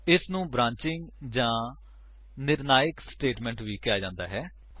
ਇਸਨੂੰ ਬ੍ਰਾਂਚਿੰਗ ਜਾਂ ਨਿਰਣਾਇਕ ਸਟੇਟਮੇਂਟ ਵੀ ਕਿਹਾ ਜਾਂਦਾ ਹੈ